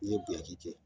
N'i ye buɲaki kɛ